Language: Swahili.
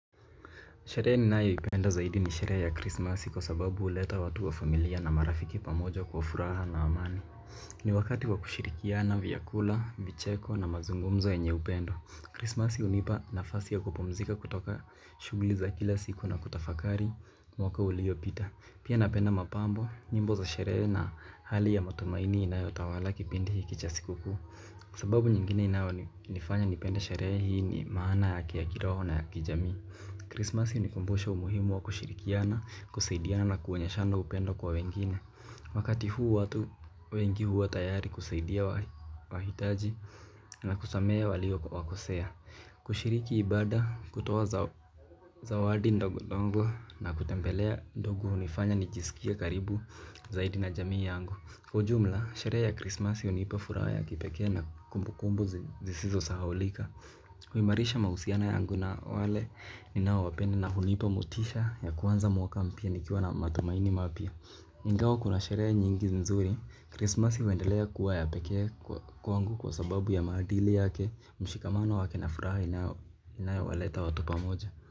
Sherehe ninayoipenda zaidi ni sherehe ya krismasi kwasababu huleta watu wa familia na marafiki pamoja kwa furaha na amani. Ni wakati wa kushirikiana, vyakula, vicheko na mazungumzo yenye upendo Krismasi hunipa nafasi ya kupumzika kutoka shughuli za kila siku na kutafakari mwaka uliopita. Pia napenda mapambo, nyimbo za sherehe na hali ya matumaini inayotawala kipindi hiki cha sikukuu. Sababu nyingine inayonifanya nipende sherehe hii ni maana yake ya kiroho na ya kijamii Krismasi hunikumbusha umuhimu wa kushirikiana, kusaidiana na kuonyeshana upendo kwa wengine. Wakati huu watu wengi huwa tayari kusaidia wahitaji na kusamehe walio wakosea. Kushiriki ibada, kutoa zawadi ndogo ndogo na kutembelea ndugu hunifanya nijisikie karibu zaidi na jamii yangu. Kwa ujumla, sherehe ya krismasi hunipa furaha ya kipekee na kumbukumbu zisizo sahaulika. Huimarisha mahusiano yangu na wale ninaowapenda na hunipa motisha ya kuanza mwaka mpya nikiwa na matumaini mapya. Ingawa kuna sherehe nyingi nzuri, krismasi huendelea kuwa ya pekee kwangu kwa sababu ya maadili yake, mshikamano wake na furaha inayowaleta watu pamoja.